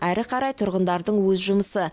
әрі қарай тұрғындардың өз жұмысы